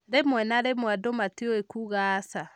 Rĩmwe na rĩmwe andũ matiũĩ kuuga aca.